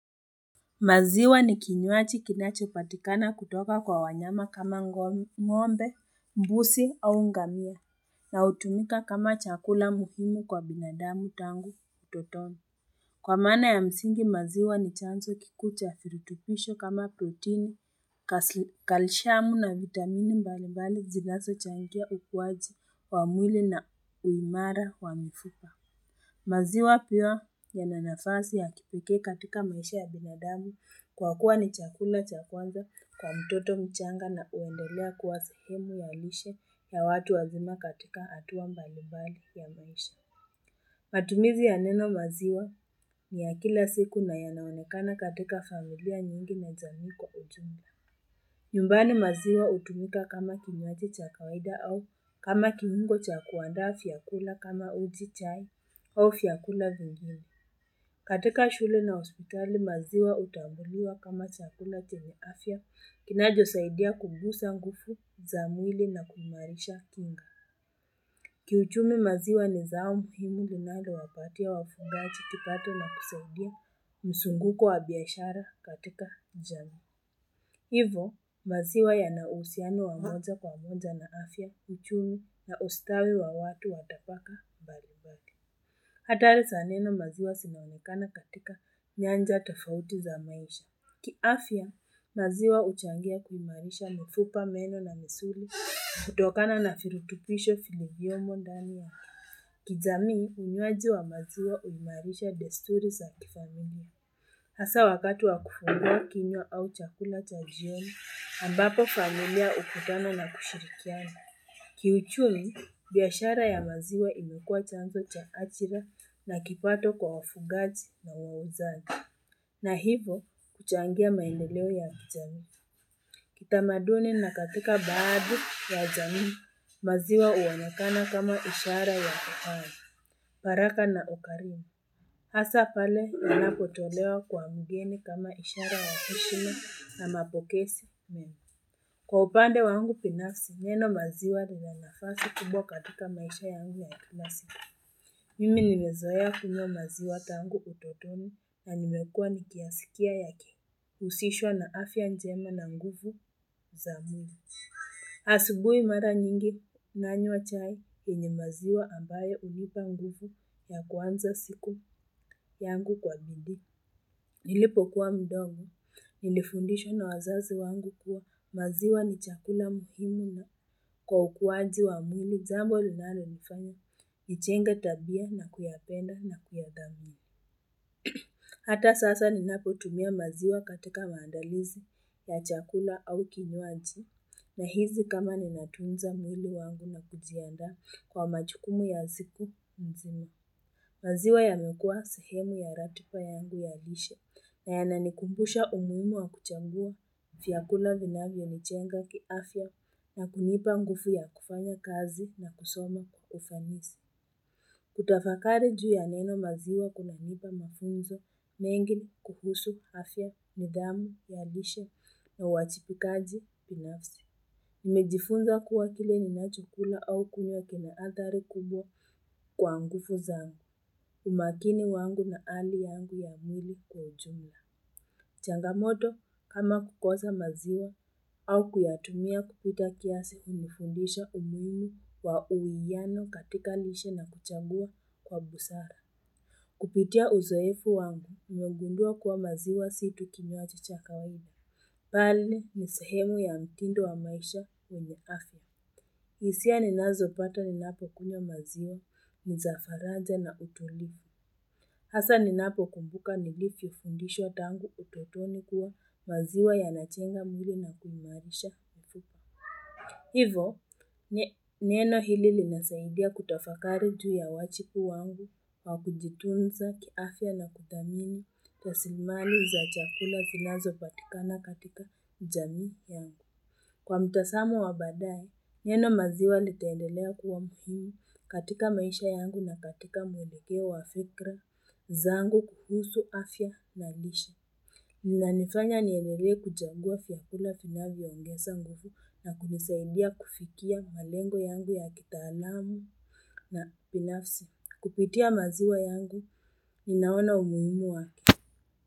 Maziwa ni kinywaji kinachopatikana kutoka kwa wanyama kama ng'ombe, mbuzi au ngamia, na hutumika kama chakula muhimu kwa binadamu tangu utotoni. Kwa maana ya msingi, maziwa ni chanzo kikuu cha virutubisho kama protini, kalshiamu na vitamini mbalimbali zinazochangia ukuaji wa mwili na uimara wa mifupa. Maziwa pia yana nafasi ya kipekee katika maisha ya binadamu kwa kuwa ni chakula cha kwanza kwa mtoto mchanga na huendelea kuwa sehemu ya lishe ya watu wazima katika hatua mbalimbali ya maisha. Matumizi ya neno maziwa ni ya kila siku na yanaonekana katika familia nyingi na jamii kwa ujumla. Nyumbani maziwa hutumika kama kinywaji cha kawaida au kama kiungo cha kuandaa vyakula kama uji chai au vyakula vingine. Katika shule na hospitali maziwa hutambuliwa kama chakula chenye afya kinachosaidia kugusa nguvu za mwili na kuimarisha kinga. Kiuchumi maziwa ni zao muhimu linalowapatia wafugaji kipato na kusaidia msunguko wa biashara katika jamii. Hivo, maziwa yana uhusiano wa moja kwa moja na afya, uchumi na ustawi wa watu wa tapaka mbalimbali. Hatari sa neno maziwa sinaonekana katika nyanja tafauti za maisha. Kiafya, maziwa huchangia kuimarisha mifupa meno na misuli, kutokana na virutubisho vilivyomo ndani yake. Kijamii, unywaji wa maziwa huimarisha desturi za kifamilia. Hasa wakati wa kufungua kinywa au chakula cha jioni, ambapo familia hukutana na kushirikiana. Kiuchumi, biashara ya maziwa imekua chanzo cha ajira na kipato kwa wafugaji na wauzaji. Na hivo, huchangia maendeleo ya kijamii. Kitamaduni na katika baadhi ya jamii, maziwa huonekana kama ishara ya uhai. Baraka na ukarimu. Hasa pale ninapotolewa kwa mgeni kama ishara wa heshima na mapokezi mema. Kwa upande wangu binafsi, neno maziwa ni ya nafasi kubwa katika maisha yangu ya kila siku. Mimi nimezoea kunywa maziwa tangu utotoni na nimekua nikiyasikia yake. Huhusishwa na afya njema na nguvu za mwili. Asubui mara nyingi nanywa chai yenye maziwa ambayo hunipa nguvu ya kuanza siku yangu kwa bidii. Nilipokuwa mdogo, nilifundishwa na wazazi wangu kuwa maziwa ni chakula muhimu na kwa ukuaji wa mwili jambo linalonifanya, nijenge tabia na kuyapenda na kuyathamini. Hata sasa ninapotumia maziwa katika maandalizi ya chakula au kinywaji, Nahisi kama ninatunza mwili wangu na kujiandaa kwa majukumu ya siku mzima. Maziwa yamekua sehemu ya ratipa yangu ya lishe na yananikumbusha umuhimu wa kutambua vyakula vinavyonijenga kiafya na kunipa nguvu ya kufanya kazi na kusoma kwa ufanisi. Kutafakari juu ya neno maziwa kunanipa mafunzo mengi kuhusu afya nidhamu ya lishe na uwajibikaji binafsi. Nimejifunza kuwa kile ninachokula au kunywa kina athari kubwa kwa ngufu zangu. Umakini wangu na hali yangu ya mwili kwa ujumla. Changamoto kama kukosa maziwa au kuyatumia kupita kiasi hunifundisha umuhimu wa uwiano katika lishe na kuchagua kwa busara. Kupitia uzoefu wangu nimegundua kuwa maziwa si tu kinywaji cha kawaida. Pali ni sehemu ya mtindo wa maisha wenye afya. Hisia ninazopata ninapokunywa maziwa, ni za faraja na utulivu. Hasa ninapokumbuka nilivyofundishwa tangu utotoni kuwa maziwa yanachenga mwili na kuimarisha. Hivo, neno hili linasaidia kutafakari juu ya wachipu wangu wa kujitunza kiafya na kuthamini rasilimali za chakula zinazopatikana katika jamii yangu. Kwa mtasamo wa baadaye, neno maziwa litaendelea kuwa muhimu katika maisha yangu na katika mwelekeo wa fikra zangu kuhusu afya na lishe. Vinanifanya niendelee kuchagua vykula vinavyoongesa nguvu na kunisaidia kufikia malengo yangu ya kitaalamu na binafsi. Kupitia maziwa yangu, ninaona umuhimu wake.